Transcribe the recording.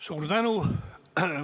Suur tänu!